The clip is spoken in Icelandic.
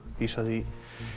vísa því